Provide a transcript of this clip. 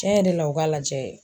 Cɛn yɛrɛ la u ka lajɛ.